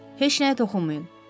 Heç nəyə toxunmayın.